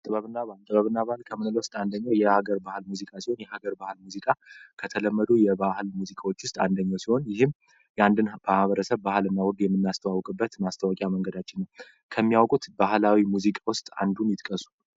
ጥበብናባህል ጥበብናባህል ከምንል ውስጥ አንደኘው የሀገር ባህል ሙዚቃ ሲሆን የሀገር ባሃል ሙዚቃ ከተለመዱ የባህል ሙዚቃዎች ውስጥ አንደኛው ሲሆን ይህም የአንድን ማሕበረሰብ ባህል እና ወግ የምናስተዋውቅበት ማስተወቂያ መንገዳችው ነው። ከሚያወቁት ባህላዊ ሙዚቀ ውስጥ አንዱን ይጥቀሱ?